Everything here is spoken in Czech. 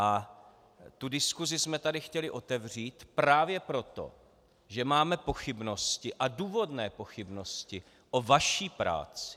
A tu diskusi jsme tady chtěli otevřít právě proto, že máme pochybnosti, a důvodné pochybnosti, o vaší práci.